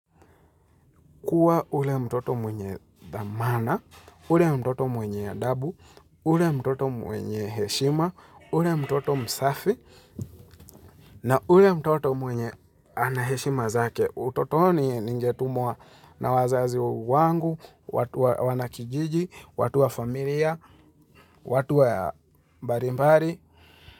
Kuwa ule mtoto mwenye dhamana, ule mtoto mwenye adabu, ule mtoto mwenye heshima, ule mtoto msafi, na ule mtoto mwenye anaheshima zake, utotoni ninge tumwa na wazazi wangu, watu wa wanakijiji, watu wa familia, watu wa mbali mbali.